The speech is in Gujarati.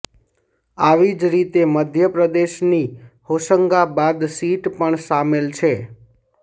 આવી જ રીતે મધ્યપ્રદેશની હોશંગાબાદ સીટ પણ સામેલ છે